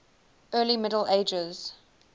early middle ages